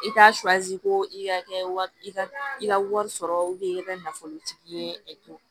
I t'a ko i ka kɛ i ka i ka wari sɔrɔ i ka nafolotigi ye e